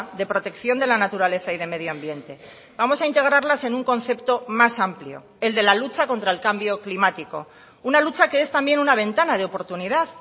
de protección de la naturaleza y de medio ambiente vamos a integrarlas en un concepto más amplio el de la lucha contra el cambio climático una lucha que es también una ventana de oportunidad